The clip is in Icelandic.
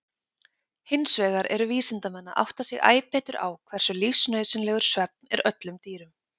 Hinsvegar eru vísindamenn að átta sig æ betur á hversu lífsnauðsynlegur svefn er öllum dýrum.